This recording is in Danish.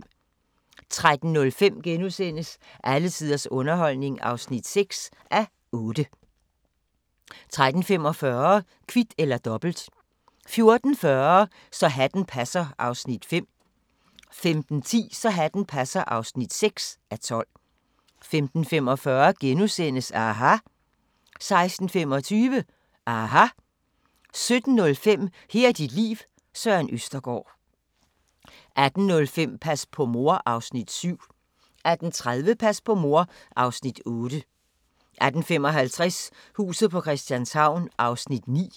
13:05: Alle tiders underholdning (6:8)* 13:45: Kvit eller Dobbelt 14:40: Så hatten passer (5:12) 15:10: Så hatten passer (6:12) 15:45: aHA! * 16:25: aHA! 17:05: Her er dit liv – Søren Østergaard 18:05: Pas på mor (Afs. 7) 18:30: Pas på mor (Afs. 8) 18:55: Huset på Christianshavn (9:84)